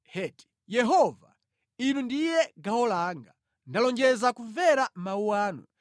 Yehova, Inu ndiye gawo langa; ndalonjeza kumvera mawu anu.